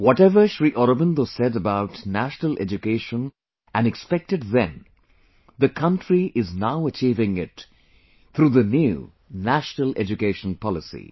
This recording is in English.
Whatever Shri Aurobindosaid about national education and expected then, the country is now achieving it through the new National Education Policy